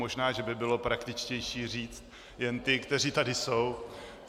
Možná že by bylo praktičtější říci jen ty, kteří tady jsou.